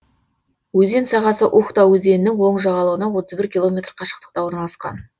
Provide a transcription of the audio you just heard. өзен сағасы ухта өзенінің оң жағалауынан отыз бір километр қашықтықта орналасқан